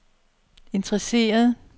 interesseret